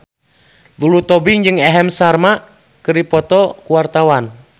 Lulu Tobing jeung Aham Sharma keur dipoto ku wartawan